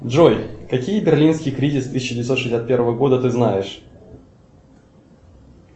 джой какие берлинский кризис тысяча девятьсот шестьдесят первого года ты знаешь